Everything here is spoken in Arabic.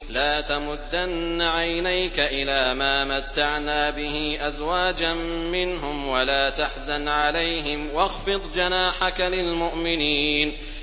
لَا تَمُدَّنَّ عَيْنَيْكَ إِلَىٰ مَا مَتَّعْنَا بِهِ أَزْوَاجًا مِّنْهُمْ وَلَا تَحْزَنْ عَلَيْهِمْ وَاخْفِضْ جَنَاحَكَ لِلْمُؤْمِنِينَ